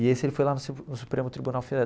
E esse ele foi lá no no Supremo Tribunal